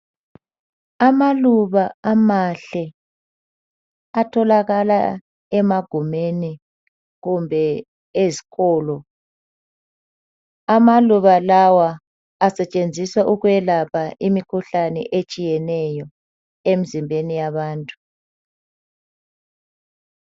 Amaluba amahle atholakala emagumeni kumbe ezikolo. Amaluba lawa asetshenziswa ukwelapha imikhuhlane etshiyeneyo emzimbeni yabantu.